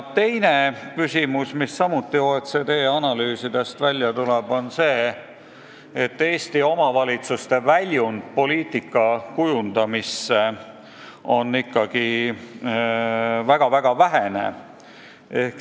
Teiseks, OECD analüüsidest tuleb välja, et Eesti omavalitsuste väljund poliitika kujundamisse on ikkagi väga vähene.